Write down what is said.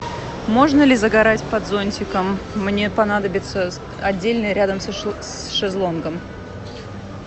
можно ли загорать под зонтиком мне понадобится отдельный рядом с шезлонгом